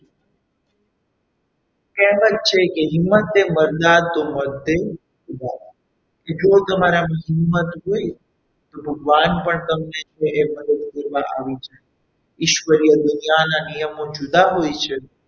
કહેવત છે કે હિંમતથી મર્દા તો મદદ એ ખુદા કે જો તમારામાં હિંમત હોય તો ભગવાન પણ તમને એ મદદ કરવા આવી શકે છે ઈશ્વરીય દુનિયાના નિયમો જુદા હોય છે.